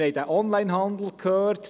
Wir haben vom Onlinehandel gehört.